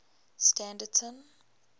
standerton